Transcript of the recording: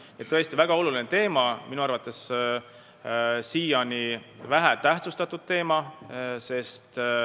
See on tõesti väga oluline teema ja minu arvates siiani vähe tähtsustatud teema.